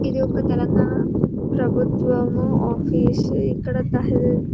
ఇది ఒక తెలంగాణ ప్రభుత్వం ఆఫీస్ ఇక్కడ తాహిల్ --